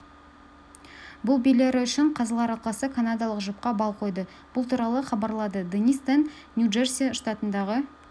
бұл билері үшін қазылар алқасы канадалық жұпқа балл қойды бұл туралы хабарлады денис тен нью-джерси штатындағы